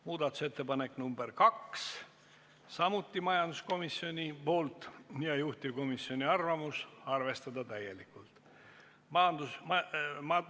Muudatusettepaneku nr 2 on samuti esitanud majanduskomisjon, juhtivkomisjoni seisukoht on arvestada seda täielikult.